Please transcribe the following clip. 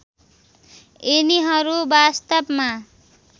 यिनीहरू वास्तवमा